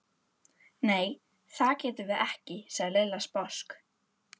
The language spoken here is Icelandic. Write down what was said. Nei, það getum við ekki sagði Lilla sposk.